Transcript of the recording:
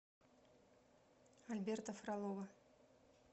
альберта фролова